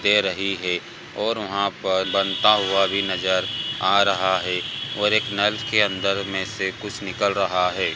दे रही है और वहाँ पर बनता हुआ भी नजर आ रहा है और एक नल के अंदर में से कुछ निकल रहा है।